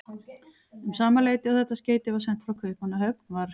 Um sama leyti og þetta skeyti var sent frá Kaupmannahöfn, var